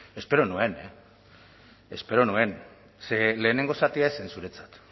espero nuen espero nuen ze lehenengo zatia ez zen zuretzat